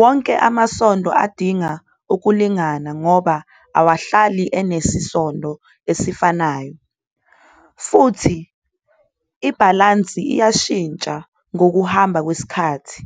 Wonke amavili kumele azimeleliswe ngoba awavamile ukuba nesisindo esifanayo. Kanti-ke ukuzimelelisa kuyashintsha ngokuhamba kwesikhathi